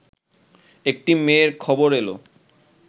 একটি মেয়ের খবর এল